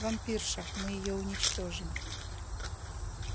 вампирша мы её уничтожим